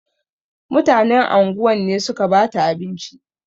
Mutanen anguwan ne suka bata abinci.